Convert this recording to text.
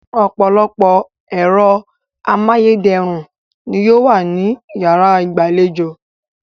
Ọ̀pọ̀lọpọ̀ ẹ̀rọ amáyédẹrùn ni yóò wà ní yàrá ìgbàlejò